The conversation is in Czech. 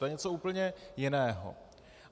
To je něco úplně jiného.